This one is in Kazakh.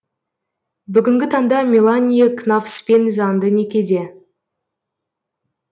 бүгінгі таңда меланье кнавспен заңды некеде